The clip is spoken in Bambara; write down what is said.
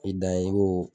I dan ye i b'o